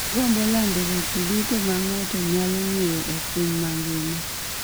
Agombo lando weche duto ma ng'ato nyalo ng'eyo e piny mangima